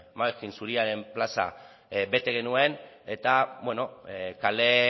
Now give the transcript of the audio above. zuriaren plaza bete genuen eta bueno kale